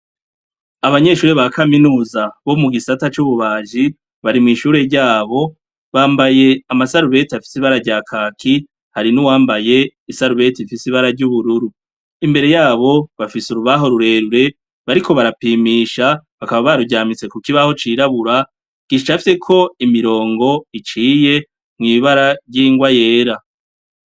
Abanyeshure bakaminuza bomugisata cububaji bari mwishure ryabo bambaye amasarubeti afise ibara ryakaki hari nuwambaye isarubeti ifise ibara ryubururu imbere yabo bafise urubaho rurerure bariko barapimisha bakaba baruryamitse kukibaho cirabura gicafyeko imirongo iciye mwibara ryingwa yera